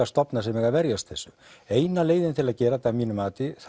stofna sem eiga að verjast þessu eina leiðin til að gera þetta að mínu mati